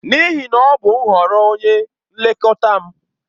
N'ihi na ọ bụ nhọrọ onye nlekọta m.